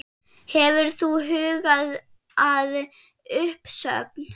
Hefur þú hugað að uppsögn?